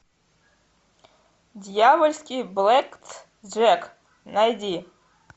дьявольский блэк джек найди